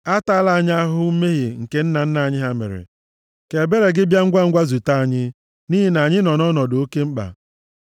Atala anyị ahụhụ mmehie nke nna nna anyị mere; ka ebere gị bịa ngwangwa zute anyị, nʼihi na anyị nọ nʼọnọdụ oke mkpa.